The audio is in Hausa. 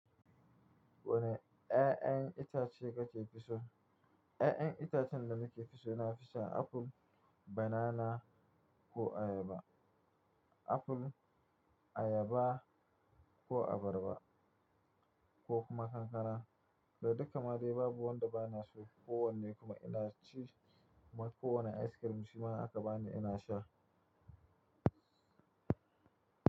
Wani 'ƴa'ƴan itace kake fi so? 'Ƴa'ƴan itacen da nake fi so na fi son apple, banana ko ayaba. Aful, ayaba ko abarba ko kuma kankana. Da duka ma dai babu wanda bana so. Ko wanne kuma ina ci, kuma ko wane ice cream shi ma aka bani ina sha.